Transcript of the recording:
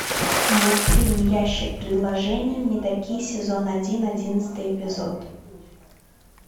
мультфильм ящик предложений мэдаки сезон один одиннадцатый эпизод